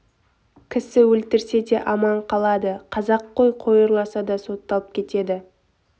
кісі өлтірсе де аман қалады қазақ қой ұрласа да сотталып кетеді